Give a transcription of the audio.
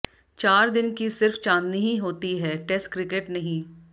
चार दिन की सिर्फ चांदनी ही होती है टेस्ट क्रिकेट नहीं